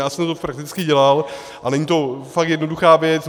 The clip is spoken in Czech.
Já jsem to prakticky dělal a není to fakt jednoduchá věc.